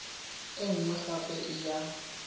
e nngwe gape e ya